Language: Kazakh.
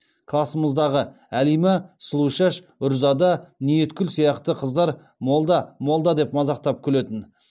класымыздағы әлима сұлушаш үрзада ниеткүл сияқты қыздар молда молда деп мазақтап күлетін